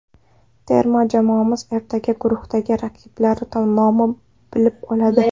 Terma jamoamiz ertaga guruhdagi raqiblari nomini bilib oladi.